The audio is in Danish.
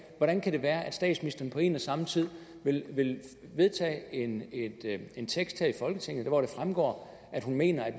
hvordan kan det være at statsministeren på en og samme tid vil vedtage en en tekst her i folketinget hvor det fremgår at hun mener at